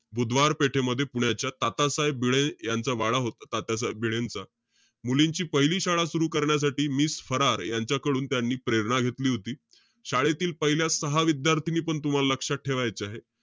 बुधवार पेठेमध्ये पुण्याच्या तातासाहेब भिडे यांचा वाडा होता. तात्यासाहेब भिडेंचा. मुलींची पहिली शाळा सुरु करण्यासाठी miss फरार यांच्याकडून त्यांनी प्रेरणा घेतली होती. शाळेतील पहिल्या सहा विद्यार्थिनी पण तुम्हाला लक्षात ठेवायच्या आहेत.